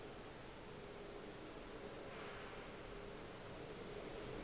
ka o tee ka o